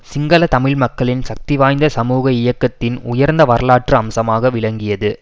சிங்கள தமிழ் மக்களின் சக்திவாய்ந்த சமூக இயக்கத்தின் உயர்ந்த வரலாற்று அம்சமாக விளங்கியது